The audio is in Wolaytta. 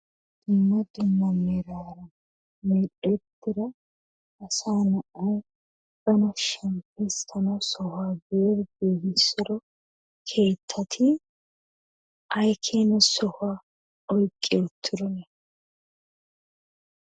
Dumma dumma meraara medhdhettida asaa na'ay bana shemppissana sohuwa giidi giigissido keettati ayi keena sohuwa oyiqqi uttidosona?